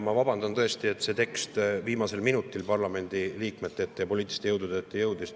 Ma vabandan, et see tekst viimasel minutil parlamendiliikmete ja poliitiliste jõudude ette jõudis.